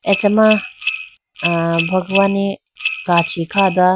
acha ma bhagwani kachi kha do.